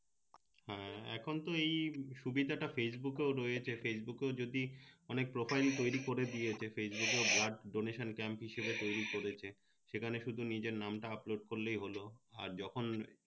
এখন তো এই সুবিধা টা ফেসবুকেও রয়েছে ফেসবুকে যদি অনেক profile তৈরি করে দিয়েছে ফেসবুকে blood donation camp হিসেবে তৈরি করেছে সেখানে শুধু নিজের নাম টা আপলোড করলেই হলো আর যখন